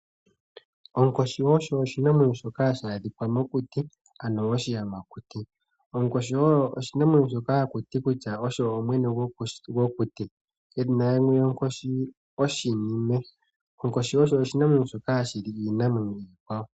Onkoshi osho oshinamwenyo shokahashi adhika mokuti, ano oshiyamakuti. Onkoshi oyo oshinamwenyo shoka haku ti kutya osho mwene gwokuti. Edhina limwe lyonkoshi oshinime. Onkoshi osho oshinamwenyo shoka hashi li iinamwenyo iikwawo.